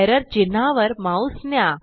error चिन्हावर mouse न्या